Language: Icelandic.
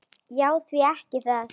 Já, því ekki það?